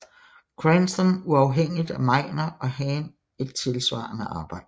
Cranston uafhængigt af Meiner og Hahn et tilsvarende arbejde